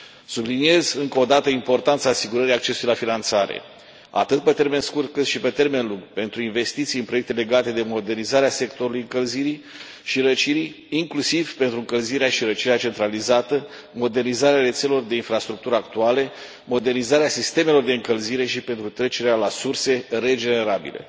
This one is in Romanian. Subliniez încă o dată importanța asigurării accesului la finanțare, atât pe termen scurt, cât și pe termen lung, pentru investiții în proiecte legate de modernizarea sectorului încălzirii și răcirii, inclusiv pentru încălzirea și răcirea centralizată, modernizarea rețelelor de infrastructură actuale, modernizarea sistemelor de încălzire și pentru trecerea la surse regenerabile.